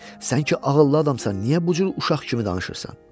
Sən ki ağıllı adamsan, niyə bu cür uşaq kimi danışırsan?